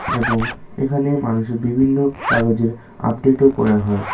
এবং এখানে মানুষের বিভিন্ন কাগজের আপডেট ও করা হয়।